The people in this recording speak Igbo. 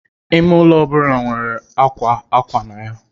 Ime ụlọ ọ bụla nwere akwa akwa na ya.